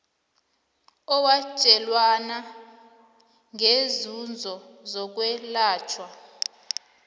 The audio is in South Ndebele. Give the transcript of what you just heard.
owatjelwana ngeenzuzo zokwelatjhwa